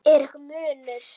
Er einhver munur?